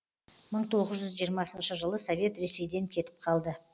мың тоғыз жүз жиырмасыншы жылы совет ресейден кетіп қалды